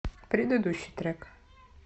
предыдущий трек